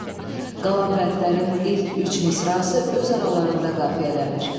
Qalan bəndlərin ilk üç misrası öz aralarında qafiyələnir.